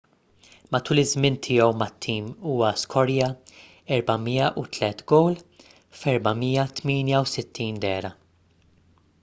matul iż-żmien tiegħu mat-tim huwa skorja 403 gowl f’468 dehra